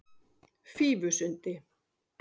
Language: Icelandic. Fífusundi